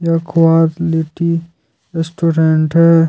यह quality restaurant है।